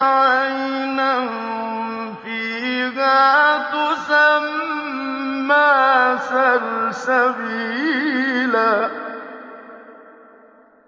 عَيْنًا فِيهَا تُسَمَّىٰ سَلْسَبِيلًا